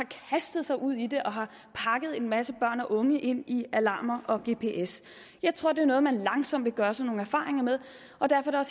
har kastet sig ud i det og har pakket en masse børn og unge ind i alarmer og gps jeg tror det er noget man langsomt vil gøre sig nogle erfaringer med og derfor er